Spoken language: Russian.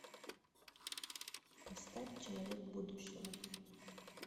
поставь человек будущего